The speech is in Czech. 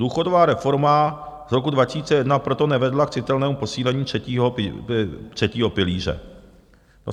Důchodová reforma z roku 2001 proto nevedla k citelnému posílení třetího pilíře.